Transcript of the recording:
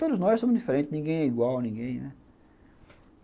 Todos nós somos diferentes, ninguém é igual a ninguém, né.